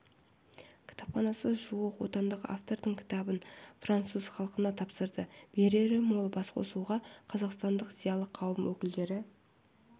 кітапханасы жуық отандық автордың кітабын француз халқына тапсырды берері мол басқосуға қазақстандық зиялы қауым өкілдері